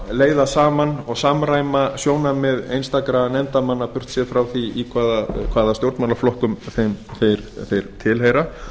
leiða saman og samræma sjónarmið einstakra nefndarmanna burtséð frá því hvaða stjórnmálaflokkum þeir tilheyra